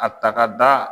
A ta ka da